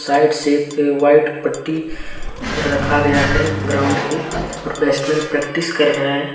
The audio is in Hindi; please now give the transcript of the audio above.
वाइट सेफ के वाइट पट्टी रखा गया है ग्राउंड के और बेस्टमैन प्रैक्टिस कर रहे है।